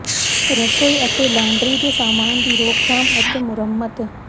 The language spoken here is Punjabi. ਰਸੋਈ ਅਤੇ ਲਾਂਡਰੀ ਦੇ ਸਾਮਾਨ ਦੀ ਰੋਕਥਾਮ ਅਤੇ ਮੁਰੰਮਤ